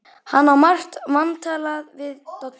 Hann á margt vantalað við Dodda.